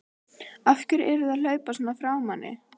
AF HVERJU ERTU AÐ HLAUPA SVONA FRÁ MANNI!